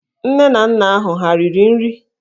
Nne na nna ahụ ha riri nri?